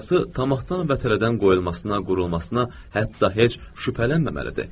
Əsası tamahdan və tərəddüddən qoyulmasına, qurulmasına hətta heç şübhələnməməlidir.